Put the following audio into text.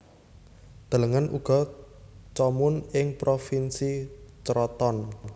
Delengen uga Comun ing Provinsi Crotone